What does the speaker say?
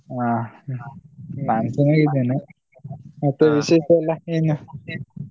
ಹ ನಾನ್ ಚನ್ನಾಗಿದ್ದೇನೆ. ಮತ್ತೆ ವಿಶೇಷ ಎಲ್ಲ ಏನು?